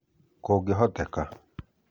Kũngĩhoteka,